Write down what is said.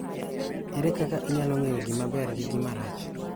Ere kaka inyalo ng�eyo gima ber gi gima rach